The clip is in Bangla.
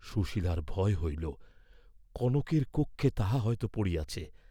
সুশীলার ভয় হইল, কনকের কক্ষে তাহা হয়তো পড়িয়াছে।